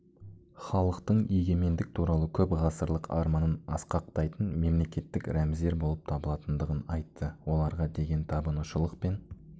халықтың егемендік туралы көпғасырлық арманын асқақтайтын мемлекеттік рәміздер болып табылатындығын айтты оларға деген табынушылық пен